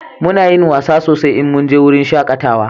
Muna yin wasa sosai in mun je wurin shakatawa